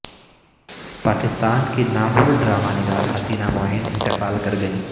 پاکستان کی نامور ڈرامہ نگار حسینہ معین انتقال کر گئیں